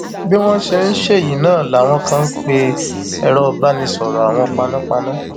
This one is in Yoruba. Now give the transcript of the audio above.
bí wọn ṣe ń ṣẹyí náà làwọn kan ń pe èrò ìbánisọrọ àwọn panápaná